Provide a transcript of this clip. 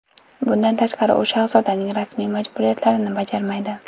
Bundan tashqari, u shahzodaning rasmiy majburiyatlarini bajarmaydi.